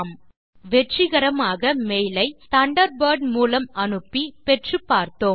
நாம் வெற்றிகரமாக மெய்லை தண்டர்பர்ட் மூலம் அனுப்பி பெற்று பார்த்தோம்